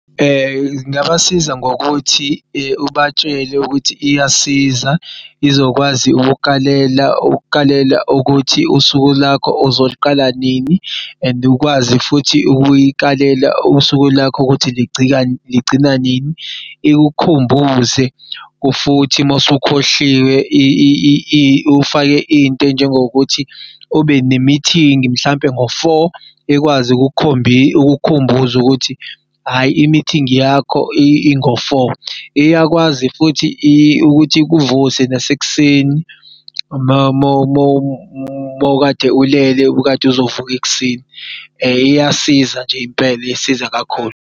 Ngingabasiza ngokuthi ubatshele ukuthi iyasiza izokwazi ukukukalela ukuthi usuku lwakho uzoliqala nini and ukwazi futhi ukuyikalela usuku lwakho ukuthi ligcina nini. Ikukhumbuze futhi masukhohliwe ufake into ey'njengokuthi ube ne-meeting mhlampe ngo-four ekwazi ukukukhumbuza ukuthi hhayi i-meeting yakho ingo-four. Iyakwazi futhi ukuthi ikuvuse nasekuseni mawukade ulele ubukadu'zovuka ekuseni. Iyasiza nje impela isiza kakhulu.